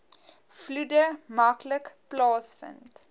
vloede maklik plaasvind